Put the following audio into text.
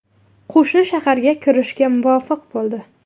Qo‘shin shaharga kirishga muvaffaq bo‘ldi.